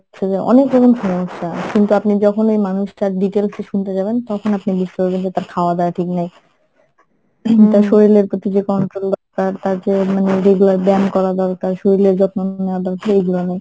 হচ্ছে যে অনেক রকম সমস্যা কিন্তু আপনি যখনই ঐ মানুষটার details এ শুনতে যাবেন তখন আপনি বুজতে পারবেন যে তার খাওয়া দাওয়া ঠিক নাই ing তার শরীরের প্রতি যে control তার~ তার যে মানে regular ব্যায়াম করা দরকার শরীরের যত্ন নেওয়া দরকার এইগুলা নাই।